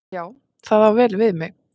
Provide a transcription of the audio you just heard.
Já, það á vel við mig.